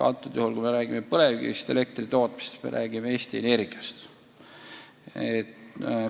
Antud juhul, kui jutuks on põlevkivist elektri tootmine, siis me räägime Eesti Energiast.